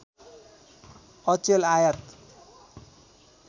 अचेल आयात